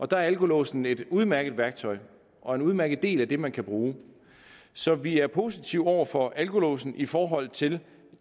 der er alkolåsen et udmærket værktøj og en udmærket del af det man kan bruge så vi er positive over for alkolåsen i forhold til